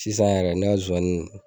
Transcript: Sisan yɛrɛ ne ka zowani